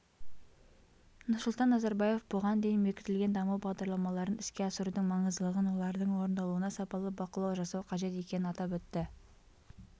нұрсұлтан назарбаев бұған дейін бекітілген даму бағдарламаларын іске асырудың маңыздылығын олардың орындалуына сапалы бақылау жасау қажет екенін атап өтті